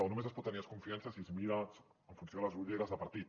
o només es pot tenir desconfiança si es mira en funció de les ulleres de partit